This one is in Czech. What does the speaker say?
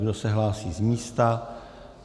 Kdo se hlásí z místa?